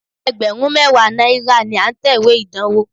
Ẹgbẹ̀rún mẹ́wàá náírà ni à ń tẹ̀wé ìdánwó.